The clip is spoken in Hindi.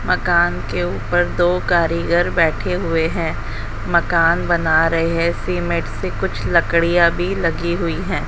मकान के ऊपर दो कारीगर बैठे हुए हैं मकान बना रहे हैं सीमेंट से कुछ लकड़ियां भी लगी हुई है।